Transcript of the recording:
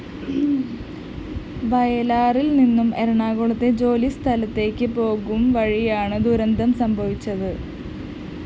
വയലാറില്‍നിന്നും എറണാകുളത്തെ ജോലിസ്ഥലത്തേക്ക് പോകുംവഴിയാണ് ദുരന്തം സംഭവിച്ചത്